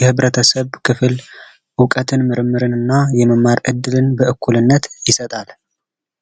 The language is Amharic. የህብረተሰብ ክፍል እውቀትን ምርምርና የመማር እድልን በኩልነት ይሰጣል